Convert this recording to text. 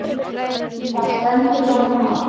Þar stendur þetta mál.